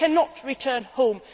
stranded. They cannot return